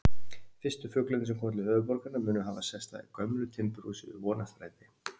Fyrstu fuglarnir sem komu til höfuðborgarinnar munu hafa sest að í gömlu timburhúsi við Vonarstræti.